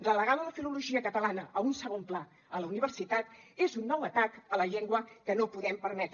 relegar la filologia catalana a un segon pla a la universitat és un nou atac a la llengua que no podem permetre